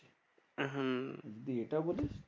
হম যদি এটা বলিস?